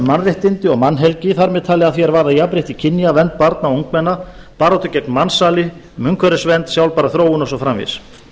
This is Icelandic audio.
mannréttindi og mannhelgi þar með talið að því er varðar jafnrétti kynja vernd barna og ungmenna baráttu gegn mansali um umhverfisvernd sjálfbæra þróun og svo framvegis